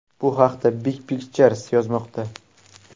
Bu haqda Big Picture yozmoqda .